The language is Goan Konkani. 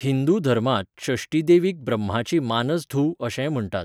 हिंदू धर्मांत षष्ठी देवीक ब्रह्माची मानस धूव अशेंय म्हण्टात.